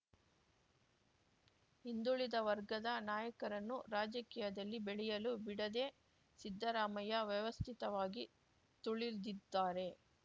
ಹಿಂದುಳಿದ ವರ್ಗದ ನಾಯಕರನ್ನು ರಾಜಕೀಯದಲ್ಲಿ ಬೆಳೆಯಲು ಬಿಡದೇ ಸಿದ್ದರಾಮಯ್ಯ ವ್ಯವಸ್ಥಿತವಾಗಿ ತುಳಿದಿದ್ದಾರೆ